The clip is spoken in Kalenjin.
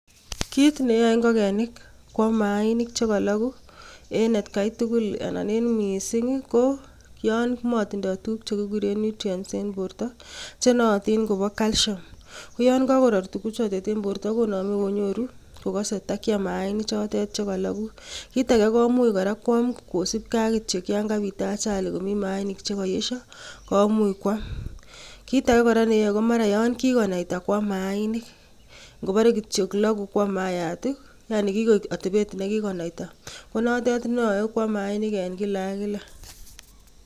Kit neyoe ingogenik koyaam mainik chekologu en etkai tugul, anan en missing anan koyon motinye tuguuk che kikuuren nutrients en bortoo chenootin koboo, calcium. Koyoon kakoroor tuguchotet en bortoo konome konyoru kokose kotakiam mainik chotet chekologuu. Kitage komuch kwam kora kosiibge ak kityok yon kabit ajali komi mainik chekoyesoo komuch kuam. Kitage kora neyoe komara yon kikonaita kwam mainik kobore kityok loguu kwam maayat, yanii kikoik atabet nekikonaitaa konoote neyoe kwam mainik en kila ak kila.